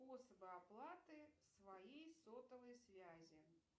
способы оплаты своей сотовой связи